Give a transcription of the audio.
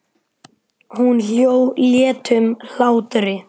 Hún hló léttum hlátri.